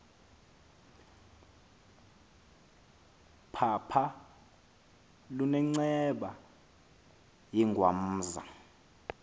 phapha lunenceba yengwamza